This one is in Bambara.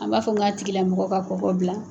A b'a fɔ n k'a tigila mɔgɔ ka kɔkɔ bila!